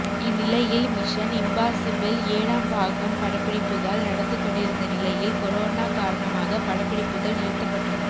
இந்நிலையில் Mission Impossible ஏழாம் பாகம் படப்பிடிப்புகள் நடந்து கொண்டிருந்த நிலையில் கொரோனா காரணமாக படப்பிடிப்புகள் நிறுத்தப்பட்டன